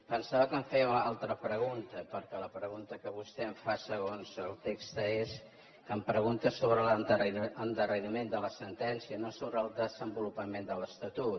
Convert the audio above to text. pensava que em feia una altra pregunta perquè la pregunta que vostè em fa segons el text és que em pregunta sobre l’endarreriment de la sentència no sobre el desenvolupament de l’estatut